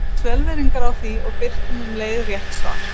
Við biðjumst velvirðingar á því og birtum um leið rétt svar.